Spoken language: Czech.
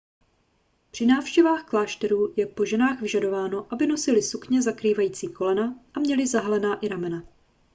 při návštěvách klášterů je po ženách vyžadováno aby nosily sukně zakrývající kolena a měly zahalená i ramena